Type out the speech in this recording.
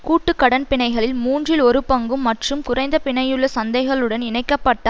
கூட்டு கடன் பிணைகளில் மூன்றில் ஒரு பங்கும் மற்றும் குறைந்த பிணையுள்ள சந்தைகளுடன் இணைக்க பட்ட